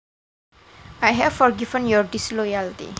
I have forgiven your disloyalty